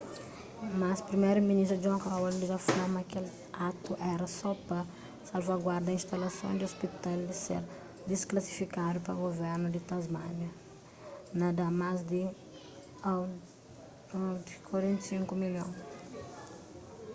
mas priméru-ministru john howard dja fla ma kel atu éra só pa salvaguarda instalason di ôspital di ser disklasifikadu pa guvernu di tasmánia na dá más di aud$45 milhon